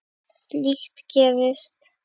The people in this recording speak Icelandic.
Slíkt gerist.